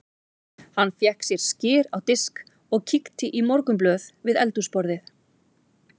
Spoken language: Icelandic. Hann fékk sér skyr á disk og kíkti í morgunblöðin við eldhúsborðið.